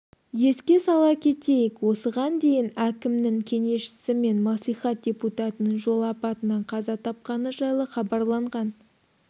еске сала кетейік осыған дейін әкімнің кеңесшісі мен мәслихат депутатының жол апатынан қаза тапқаны жайлы хабарланған